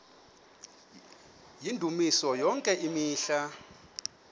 yendumiso yonke imihla